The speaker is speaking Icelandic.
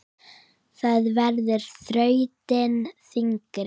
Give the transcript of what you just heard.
Það verður þrautin þyngri.